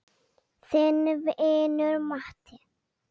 Þinn vinur Matti.